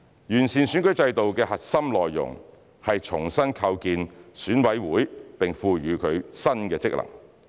完善選舉制度的核心內容是重新構建選委會並賦予它新的職能。